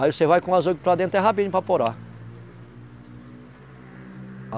Aí você vai com as para dentro, é rapidinho para